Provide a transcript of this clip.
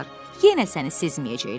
Yenə səni sezməyəcəklər.